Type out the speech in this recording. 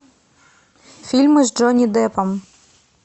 фильмы с джонни деппом